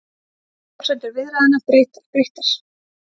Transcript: Forsendur viðræðna breyttar